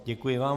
Děkuji vám.